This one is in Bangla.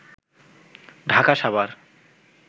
ঢাকা সাভার